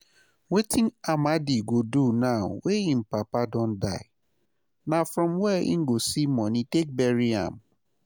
um Wetin Amadi go do now wey im papa don die, na from where e go see money take bury am?